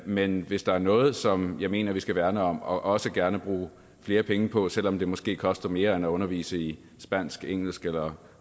men hvis der er noget som jeg mener vi skal værne om og også gerne bruge flere penge på selv om det måske koster mere end at undervise i spansk engelsk eller